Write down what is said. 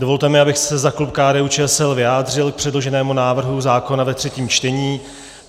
Dovolte mi, abych se za klub KDU-ČSL vyjádřil k předloženému návrhu zákona ve třetím čtení.